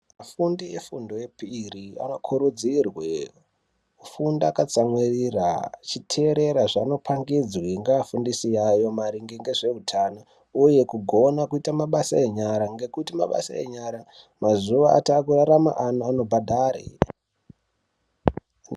Vafundi vefundo yepiri vanokurudzirwa vafunde veitsamwirira vechiteerera zvavanopangidzwa ngevafundisi vavo maringe ngezveutano uye kugona kuite mabasa enyara ngekuti mazuwa ano mabasa enyara anobhadhare.